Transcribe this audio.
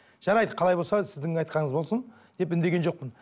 жарайды қалай болса сіздің айтқаныңыз болсын деп үндеген жоқпын